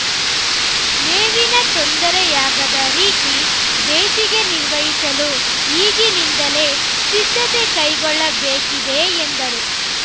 ಮೇವಿನ ತೊಂದರೆಯಾಗದ ರೀತಿ ಬೇಸಿಗೆ ನಿರ್ವಹಿಸಲು ಈಗಿನಿಂದಲೇ ಸಿದ್ಧತೆ ಕೈಗೊಳ್ಳಬೇಕಿದೆ ಎಂದರು